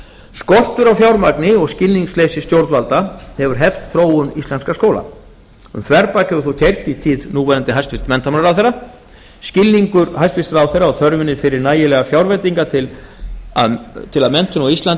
skortur á fjármagni og skilningsleysi stjórnvalda hefur heft þróun íslenskra skóla um þverbak hefur þó keyrt í tíð núverandi hæstvirtan menntamálaráðherra skilningur hæstvirtur ráðherra á þörfinni fyrir nægilegar fjárveitingar til að menntun á íslandi